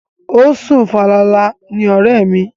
O sùn falala ni ọ̀rẹ́ mi.